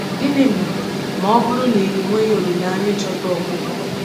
Gịnị ma ma ọ bụrụ na enweghi olileanya ịchọta ọgwụgwọ?